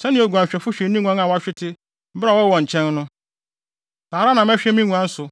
Sɛnea oguanhwɛfo hwɛ ne nguan a wɔahwete bere a ɔwɔ wɔn nkyɛn no, saa ara na mɛhwɛ me nguan so.